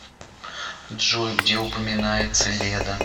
джой где упоминается леда